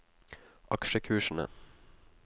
aksjekursene